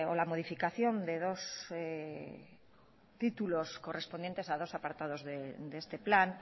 la modificación de dos títulos correspondientes a dos apartados de este plan